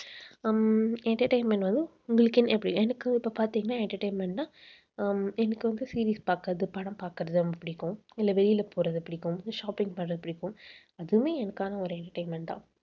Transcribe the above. ஹம் entertainment வந்து உங்களுக்குன்னு எனக்கு இப்ப பார்த்தீங்கன்னா entertainment ன்னா அஹ் எனக்கு வந்து series பார்க்கிறது படம் பார்க்கறது ரொம்ப பிடிக்கும். இல்லை வெளியில போறது பிடிக்கும். shopping பண்றது பிடிக்கும் அதுவுமே எனக்கான ஒரு entertainment தான்.